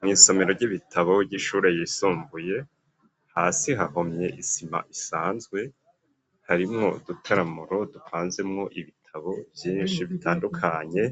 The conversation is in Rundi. Mw'isomero ry'ibitabo vy'ishure ryisumbuye hasi hahomye isima isanzwe harimwo dutaramuro dupanzemwo ibitabo vyinshi bitandukanye